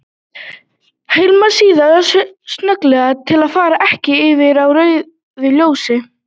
Hemlar síðan snögglega til að fara ekki yfir á rauðu ljósi.